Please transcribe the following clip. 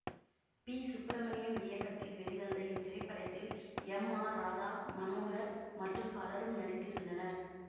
B Subramaniam இயக்கத்தில் வெளிவந்த இத்திரைப்படத்தில் எம் ஆர் ராதா மனோகர் மற்றும் பலரும் நடித்திருந்தனர்